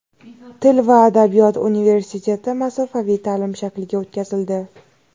Til va adabiyot universiteti masofaviy ta’lim shakliga o‘tkazildi.